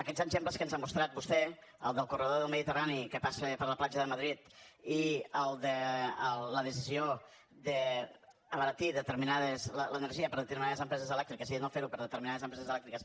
aquests exemples que ens ha mostrat vostè el del corredor del mediterrani que passa per la platja de madrid i el de la decisió d’abaratir l’energia per a determinades empreses elèctriques i de no fer ho per a determinades empreses elèctriques